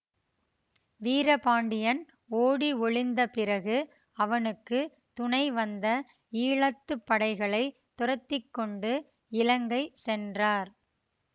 வீரபாண்டியன் ஓடி ஒளிந்த பிறகு அவனுக்கு துணைவந்த ஈழத்து படைகளை துரத்தி கொண்டு இலங்கை சென்றார்